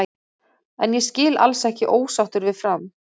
En ég skil alls ekki ósáttur við Fram.